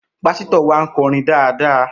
Pásítọ̀ wa ń kọrin dáadáa